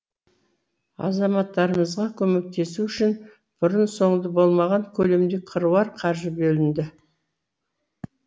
азаматтарымызға көмектесу үшін бұрын соңды болмаған көлемде қыруар қаржы бөлінді